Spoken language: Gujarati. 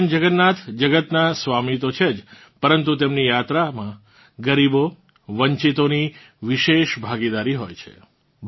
ભગવાન જગન્નાથ જગતનાં સ્વામી તો છે જ પરંતુ તેમની યાત્રામાં ગરીબો વંચિતોની વિશેષ ભાગીદારી હોય છે